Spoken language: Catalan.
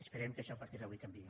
esperem que això a partir d’avui canviï